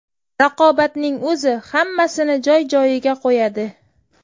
Raqobatning o‘zi hammasini joy-joyiga qo‘yadi.